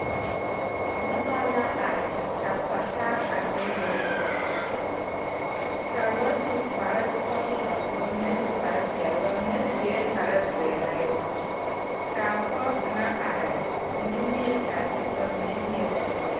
Nobɔ la are ka pata a bebe ka ba su kparesɔglɔ ka mine su kparepeɛle ba mine suee kparezeere kaa pɔɔ kaŋa are ko nimie kyaare kyɛ ka ba mine leɛ ba poe.